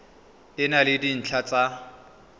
e na le dintlha tsa